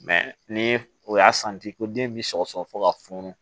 ni o y'a santi ko den bi sɔgɔsɔgɔ fɔ ka funu